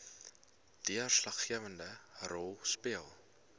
deurslaggewende rol speel